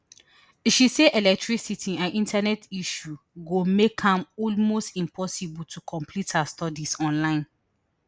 she say electricity and internet issues go make am almost impossible to complete her studies online